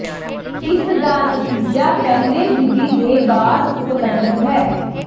ਇਸ ਦਾ ਨਤੀਜਾ ਪਹਿਲੇ ਵਿਧੀ ਦੇ ਬਾਅਦ ਉਪਲੱਬਧ ਹੈ